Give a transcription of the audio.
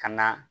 Ka na